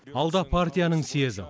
алда партияның съезі